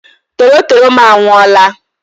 Torotoro m anwụọla!